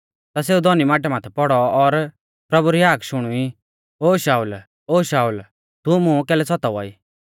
ता सेऊ धौनी माटै माथै पौड़ौ और प्रभु री हाक शुणुई ओ शाऊल ओ शाऊल तू मुं कैलै सतावा ई